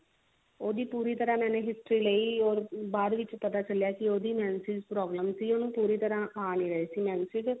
ਉਹਦੀ ਪੂਰੀ ਤਰਾਂ ਮੈਂ history ਲਈ ਓਰ ਬਾਅਦ ਵਿੱਚ ਪਤਾ ਚੱਲਿਆ ਕੇ ਉਹਦੀ menses problem ਸੀ ਉਹਨੂੰ ਪੂਰੀ ਤਰਾਂ ਆ ਨਹੀ ਰਹੇ ਸੀ menses